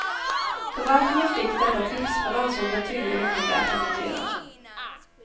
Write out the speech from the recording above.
Förvaltningen fick detta tips men ansåg det tydligen inte värt att notera.